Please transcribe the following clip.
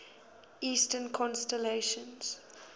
eastern constellations